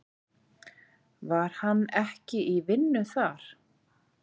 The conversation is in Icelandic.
Var hann ekki í vinnu þar?